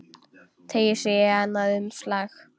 Teygir sig í annað umslag.